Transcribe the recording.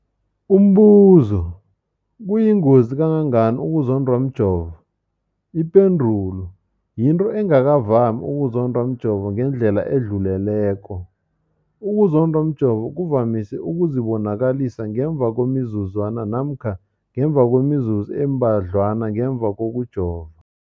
Umbuzo, kuyingozi kangangani ukuzondwa mjovo? Ipendulo, yinto engakavami ukuzondwa mjovo ngendlela edluleleko. Ukuzondwa mjovo kuvamise ukuzibonakalisa ngemva kwemizuzwana namkha ngemva kwemizuzu embadlwana ngemva kokujova.